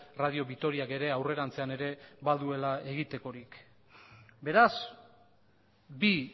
radio vitoriak ere aurrerantzean ere baduela egitekorik beraz bi